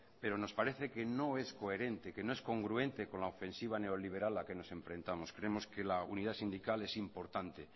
pero nos parece que no es coherente que no es congruente con la ofensiva neoliberal a la que nos enfrentamos creemos que la unidad sindical es importante